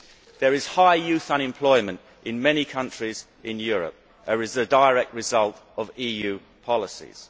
There is high youth unemployment in many countries in Europe as a direct result of EU policies.